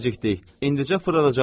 İndicə fırladacaqlar.